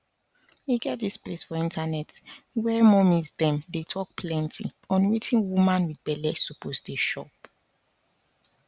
e get dis place for internet where mommies dem dey talk plenty on wetin woman wit belle suppose dey chop